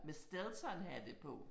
Med Steltonhate på